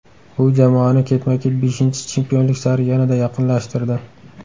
Bu jamoani ketma-ket beshinchi chempionlik sari yanada yaqinlashtirdi.